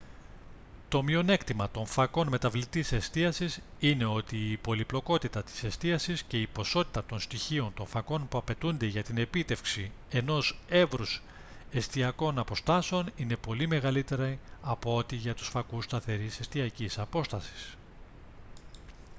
το μειονέκτημα των φακών μεταβλητής εστίασης είναι ότι η πολυπλοκότητα της εστίασης και η ποσότητα των στοιχείων των φακών που απαιτούνται για την επίτευξη ενός εύρους εστιακών αποστάσεων είναι πολύ μεγαλύτερη από ό,τι για τους φακούς σταθερής εστιακής απόστασης